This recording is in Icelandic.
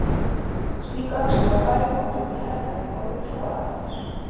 Slík öxi var bæði notuð í hernaði og við trúarathafnir.